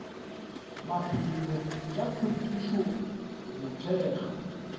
maphelo tša hlwekišo go thekga